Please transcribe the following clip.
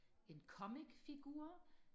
en comic figur